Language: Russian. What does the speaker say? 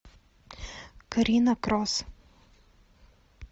карина крос